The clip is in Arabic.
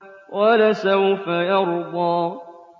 وَلَسَوْفَ يَرْضَىٰ